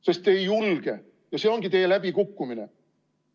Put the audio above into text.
Sest te ei julge, ja see ongi teie läbikukkumine.